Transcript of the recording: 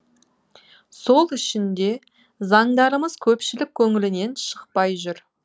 сол үшін де заңдарымыз көпшілік көңілінен шықпай жүр